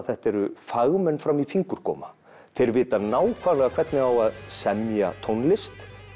þetta eru fagmenn fram í fingurgóma þeir vita nákvæmlega hvernig á að semja tónlist